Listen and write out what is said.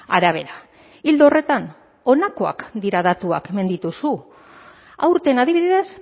arabera ildo horretan honakoak dira datuak hemen dituzu aurten adibidez